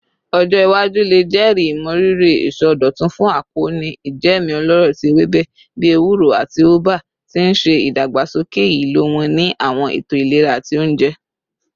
Ọjọ iwaju le jẹri imọriri isọdọtun fun akoonu ijẹẹmu ọlọrọ ti ewebe bii ewuro ati ubwa, ti n ṣe idagbasoke ilo wọn ni awọn eto ilera ati ounjẹ.